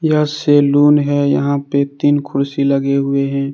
यह सैलून है यहां पे तीन कुर्सी लगे हुये हैं।